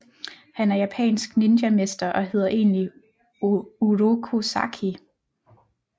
Han er japansk ninjamester og hedder egentlig Uroku Saki